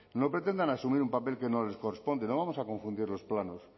no pretendan asumir un papel que no les corresponde no vamos a confundir los planos